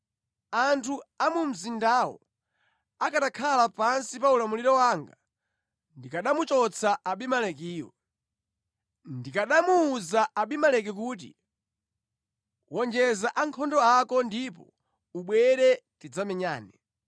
Anthu a mu mzindawo akanakhala pansi pa ulamuliro wanga, ndikanamuchotsa Abimelekiyu. Ndikanamuwuza Abimeleki kuti, ‘Wonjeza ankhondo ako ndipo ubwere tidzamenyane!’ ”